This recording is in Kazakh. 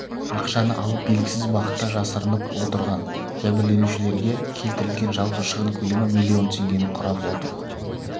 ақшаны алып белгісіз бағытта жасырынып отырған жәбірленушілерге келтірілген жалпы шығын көлемі миллион теңгені құрап отыр